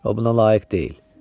O buna layiq deyil.